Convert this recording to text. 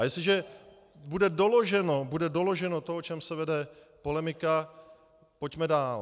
A jestliže bude doloženo to, o čem se vede polemika, pojďme dál.